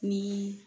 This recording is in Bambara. Ni